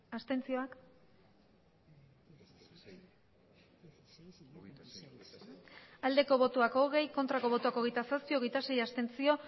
abstentzioa hogei bai hogeita zazpi ez hogeita sei abstentzio